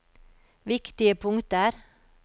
viktige punkter